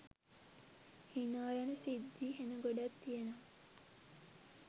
හිනා යන සිද්දි හෙන ගොඩක් තියෙනවා